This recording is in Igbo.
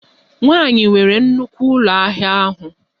Nwanyị nwere nnukwu ụlọ ahịa ahụ